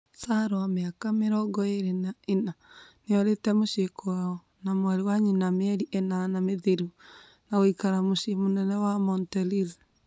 Salwa, mĩaka mĩrongo ĩĩrĩ na inya nĩorite mũcii kwao na mwarĩ wa nyina mĩeri inana mĩthiru na gũikara mũcĩĩ mũnene wa Montereal